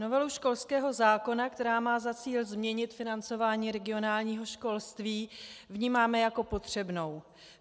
Novelu školského zákona, která má za cíl změnit financování regionálního školství, vnímáme jako potřebnou.